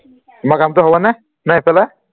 তোমাৰ কামটো হবনে নে এইফালে